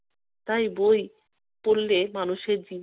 তাই বই পড়লে মানুষের জীব~